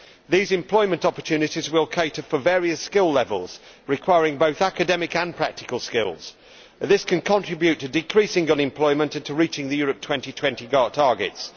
These employment opportunities will cater for various skill levels, requiring both academic and practical skills. This can contribute to decreasing unemployment and to reaching the Europe 2020 targets.